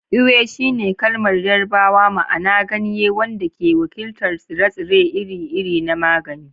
Ewe shine kalmar Yarbawa ma'ana "ganye," wanda ke wakiltar tsire-tsire iri-iri na magani.